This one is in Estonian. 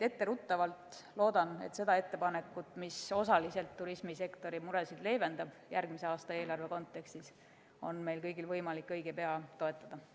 Etteruttavalt ütlen, et ma loodan, et seda ettepanekut, mis osaliselt turismisektori muresid järgmise aasta eelarve abil leevendab, on meil kõigil võimalik õige pea toetada.